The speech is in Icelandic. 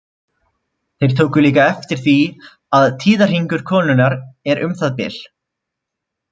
Þeir tóku líka eftir því að tíðahringur konunnar er um það bil.